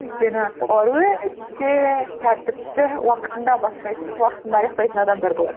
өйткені олар өте тәртіпті уақытында бастайтын уақытында аяқтайтын адамдар болатын